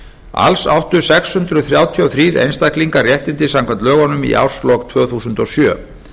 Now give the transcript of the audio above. alls áttu sex hundruð þrjátíu og þrír einstaklingar réttindi samkvæmt lögunum í árslok tvö þúsund og sjö